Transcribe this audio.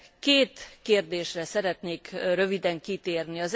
Két kérdésre szeretnék röviden kitérni.